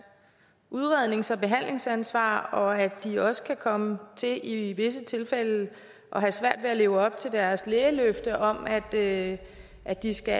udrednings og behandlingsansvar og at de også kan komme til i visse tilfælde at have svært ved at leve op til deres lægeløfte om at at de skal